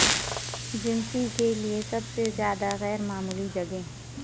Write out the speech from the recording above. جنسی کے لئے سب سے زیادہ غیر معمولی جگہیں